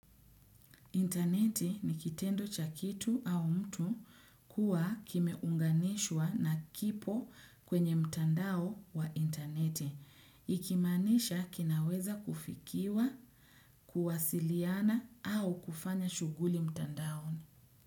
Intaneti ni kitendo cha kitu au mtu kuwa kimeunganishwa na kipo kwenye mtandao wa intaneti. Ikimaanisha kinaweza kufikiwa, kuwasiliana au kufanya shuguli mtandao.